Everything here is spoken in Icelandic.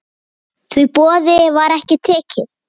Því boði var ekki tekið.